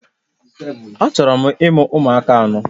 Achọrọ m imụ ụmụaka anọ